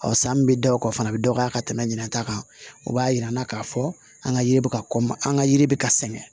Ɔ san min bɛ da o kan o fana bɛ dɔgɔya ka tɛmɛ ɲinata kan o b'a yira an na k'a fɔ an ka yiri bɛ ka kɔ ma an ka yiri bɛ ka sɛgɛn